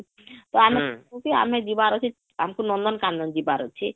ତ ଆମେ କହିଲୁ କି ଆମେ ଯିବାର ଅଛି ଆମକୁ ନନ୍ଦନ କାନନ ଯିବାର ଅଛି